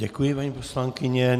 Děkuji, paní poslankyně.